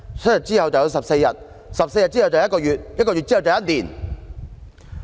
7天之後便是14天 ，14 天之後就變成1個月，然後就是1年"。